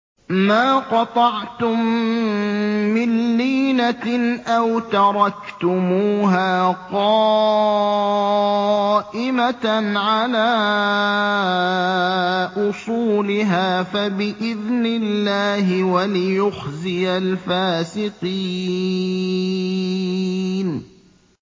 مَا قَطَعْتُم مِّن لِّينَةٍ أَوْ تَرَكْتُمُوهَا قَائِمَةً عَلَىٰ أُصُولِهَا فَبِإِذْنِ اللَّهِ وَلِيُخْزِيَ الْفَاسِقِينَ